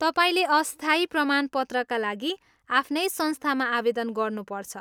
तपाईँले अस्थायी प्रमाणपत्रका लागि आफ्नै संस्थामा आवेदन गर्नुपर्छ।